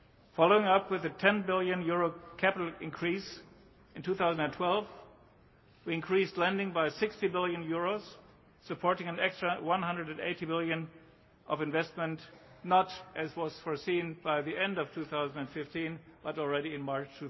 Following up with a EUR 10 billion capital increase in 2012, we increased lending by EUR 60 billion, supporting an extra EUR 180 billion of investment not, as was foreseen, by the end of 2015 but already in March